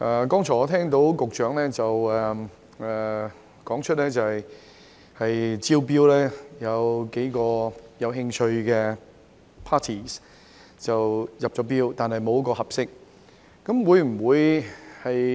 剛才我聽到局長表示，招標有數個有興趣的 parties 入標，但沒有一個合適。